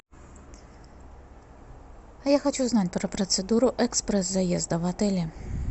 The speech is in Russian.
а я хочу знать про процедуру экспресс заезда в отеле